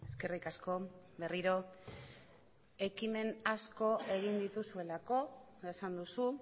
eskerrik asko berriro ekimen asko egin dituzuelako esan duzu